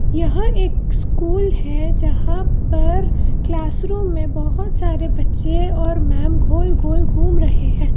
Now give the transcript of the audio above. यह एक स्कूल है जहां पर क्लासरूम में बहोत सारे बच्चे और मैंम गोल गोल घूम रहे हैं।